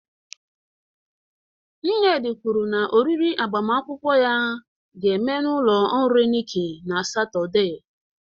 Nnedi kwuru na oriri agbamakwụkwọ ya ga-eme n'ụlọ nri Nikki na Satọde.